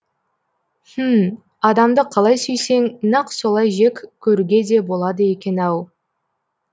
хмм адамды қалай сүйсең нақ солай жек көруге де болады екен ау